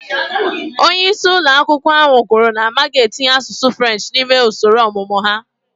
Onye isi ụlọ akwụkwọ ahụ kwuru na ha ga-etinye asụsụ French n'ime usoro ọmụmụ ha